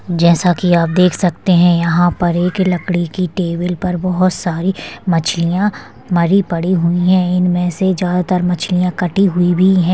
जैसा की आप देख सकते है यहाँ पर एक लकड़ी की टेबल पर बहुत सारी मछलिया मरी पडी हुई है इनमे से ज्यादा तर मछलिया कटी हुई भी है।